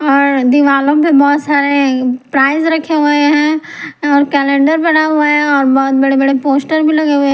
और दिवालो में बहोत सारे प्राइस रखे हुए हैं और कैलेंडर बना हुआ है और बहोत बड़े बड़े पोस्टर भी लगे हुए है।